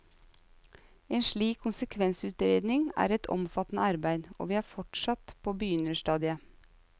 En slik konsekvensutredning er et omfattende arbeid, og vi er fortsatt på begynnerstadiet.